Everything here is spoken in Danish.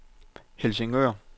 Helsingør